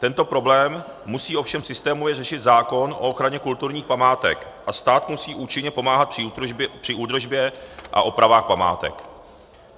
Tento problém musí ovšem systémově řešit zákon o ochraně kulturních památek a stát musí účinně pomáhat při údržbě a opravách památek.